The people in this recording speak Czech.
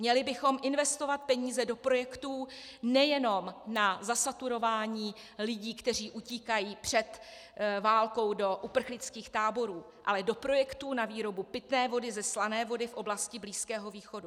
Měli bychom investovat peníze do projektů nejenom na zasaturování lidí, kteří utíkají před válkou do uprchlických táborů, ale do projektů na výrobu pitné vody ze slané vody v oblasti Blízkého východu.